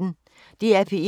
DR P1